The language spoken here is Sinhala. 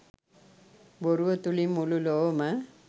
බොරුව තුළින් මුළු ලොවම